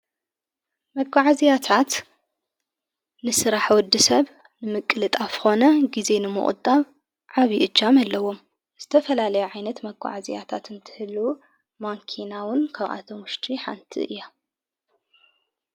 መጓዓዚያታት ንሥራሕ ወዲ ሰብ ንምቅል ጥ ኣፍኾነ ጊዜ ንመቕጣብ ዓቢ እጃመኣለዎም ዝተፈላለዮ ዓይነት መኰዓእዚያታት እንትህሉ ማንኪናውን ከብኣቶሙሽቲ ሓንቲ እያ።